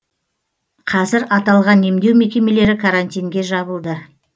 қазір аталған емдеу мекемелері карантинге жабылды